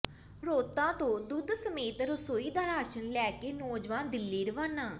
ਰੌਂਤਾ ਤੋਂ ਦੁੱਧ ਸਮੇਤ ਰਸੋਈ ਦਾ ਰਾਸ਼ਨ ਲੈ ਕੇ ਨੌਜਵਾਨ ਦਿੱਲੀ ਰਵਾਨਾ